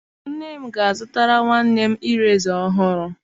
Nne m ga a zụtara nwanne mireza ọhụrụ.